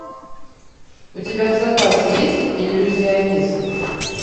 у тебя в запасе есть иллюзионист